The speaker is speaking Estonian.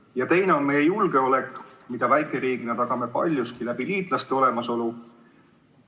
Ja teine küsimus puudutab meie julgeolekut, mida väikeriigina tagame paljuski liitlaste olemasoluga.